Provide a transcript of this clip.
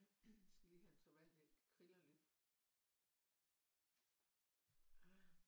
Jeg skal lige have en tår vand jeg kriller lidt